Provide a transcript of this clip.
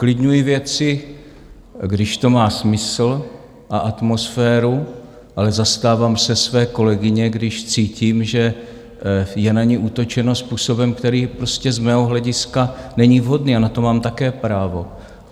Uklidňuji věci, když to má smysl, a atmosféru, ale zastávám se své kolegyně, když cítím, že je na ni útočeno způsobem, který prostě z mého hlediska není vhodný, a na to mám také právo.